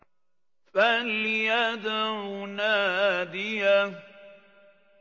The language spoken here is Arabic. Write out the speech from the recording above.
فَلْيَدْعُ نَادِيَهُ